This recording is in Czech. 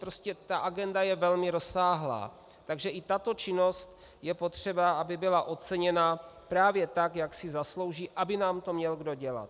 Prostě ta agenda je velmi rozsáhlá, takže i tato činnost je potřeba, aby byla oceněna právě tak, jak si zaslouží, aby nám to měl kdo dělat.